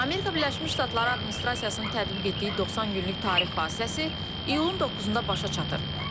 Amerika Birləşmiş Ştatları administrasiyasının tətbiq etdiyi 90 günlük tarif vasitəsi iyulun 9-da başa çatır.